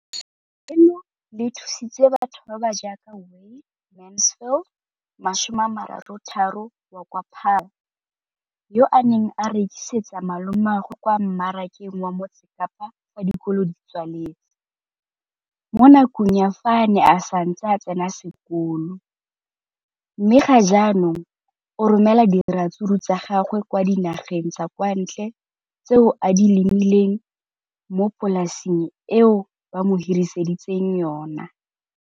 leno le thusitse batho ba ba jaaka Wayne Mansfield, 33, wa kwa Paarl, yo a neng a rekisetsa malomagwe kwa Marakeng wa Motsekapa fa dikolo di tswaletse, mo nakong ya fa a ne a santse a tsena sekolo, mme ga jaanong o romela diratsuru tsa gagwe kwa dinageng tsa kwa ntle tseo a di lemileng mo polaseng eo ba mo hiriseditseng yona.